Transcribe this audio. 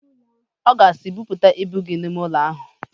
Ọ ga-asị, "Buputa ibu gị n'ime ụlọ ahụ"!